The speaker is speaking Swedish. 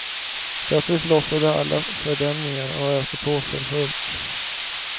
Plötsligt lossade alla fördämningar och öste på för fullt.